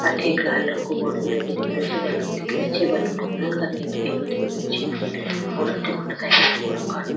अठे एक लाल रंग का बोर्ड भी लगो दिख रहे छे बलून दिख रहे छे बलून को रंग सफ़ेद पिलो दिख रहे छे और अठन साइकिल को रंग का --